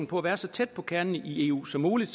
på at være så tæt på kernen i eu som muligt